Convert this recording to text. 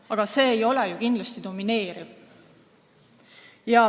Aga see ei ole kindlasti domineeriv.